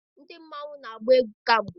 ndị mmanwu, na-agba egwú kamgbe